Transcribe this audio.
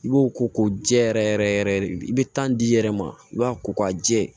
I b'o ko ko jɛ yɛrɛ yɛrɛ yɛrɛ i bɛ tan d'i yɛrɛ ma i b'a ko k'a jɛ